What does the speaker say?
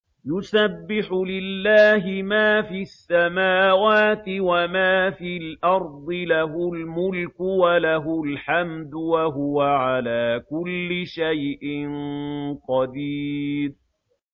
يُسَبِّحُ لِلَّهِ مَا فِي السَّمَاوَاتِ وَمَا فِي الْأَرْضِ ۖ لَهُ الْمُلْكُ وَلَهُ الْحَمْدُ ۖ وَهُوَ عَلَىٰ كُلِّ شَيْءٍ قَدِيرٌ